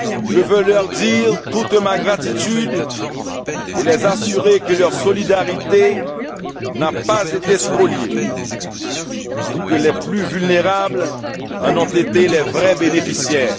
Je veux leur dire toute ma gratitude et les assurer que leur solidarité n'a pas été spoliée et que les plus vulnérables en ont été les vrais bénéficiaires.